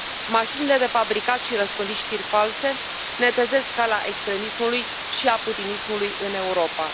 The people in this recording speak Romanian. Mașinile de fabricat și răspândit știri false netezesc calea extremismului și a putinismului în Europa.